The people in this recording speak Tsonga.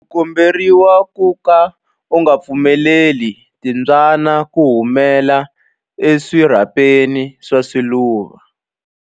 U komberiwa ku ka u nga pfumeleli timbyana ku humela eswirhapeni swa swiluva.